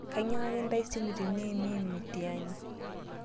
Nkainyiangaki ntai simu tiniimim mitiani